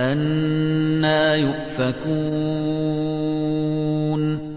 أَنَّىٰ يُؤْفَكُونَ